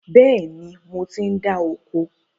Bẹ́ẹ̀ni, mo ti ń dá oko